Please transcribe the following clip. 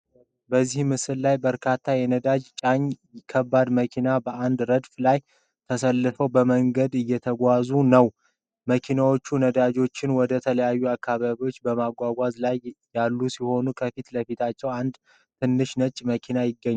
በዚህ ምስል ላይ በርካታ የነዳጅ ጫኝ ከባድ መኪናዎች በአንድ ረድፍ ላይ ተሰልፈው በመንገድ እየተጓዙ ነው። መኪናዎቹ ነዳጅን ወደተለያዩ አካባቢዎች በማጓጓዝ ላይ ያሉ ሲሆን፣ ከፊት ለፊታቸው አንድ ትንሽ ነጭ መኪና ይገኛል።